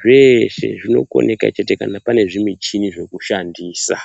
zveshe zvinokundika chete kana paine zvimichini yekushandisa.